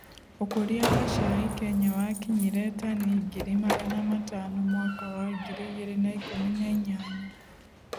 ũkũria wa cai Kenya wakinyire tani ngiri magana matano mwaka wa ngiri igĩre na ikũmi na inyanya.